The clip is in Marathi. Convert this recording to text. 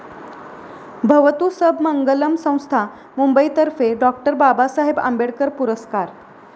भवतु सब मंगलम संस्था, मुंबईतर्फे 'डॉ. बाबासाहेब आंबेडकर' पुरस्कार.